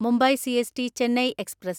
Mumbai CST Chennai express